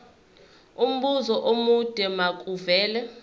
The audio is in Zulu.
umbuzo omude makuvele